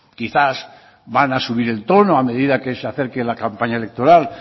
quizás van a subir el tono a medida que se acerque la campaña electoral